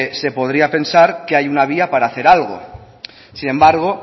se podría pensar que hay una vía para hacer algo sin embargo